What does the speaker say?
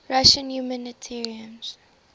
russian humanitarians